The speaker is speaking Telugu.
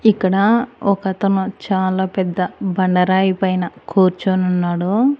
ఇక్కడ ఒక అతను చాలా పెద్ద బండరాయి పైన కూర్చొని ఉన్నాడు.